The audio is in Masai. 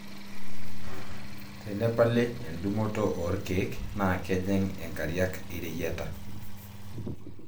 tenepali endungoto oo lkeek naa kejing inkariak ireyieta